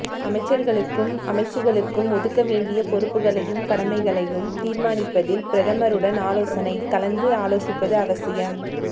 அமைச்சர்களுக்கும் அமைச்சுக்களுக்கும் ஒதுக்கவேண்டிய பொறுப்புக்களையும் கடமைகளையும் தீர்மானிப்பதில் பிரதமருடன் ஆலோசனை கலந்து ஆலோசிப்பது அவசியம்